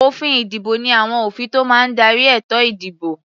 Òfin-ìdìbò ní àwọn òfin tó máa ń darí ètò-ìdìbò.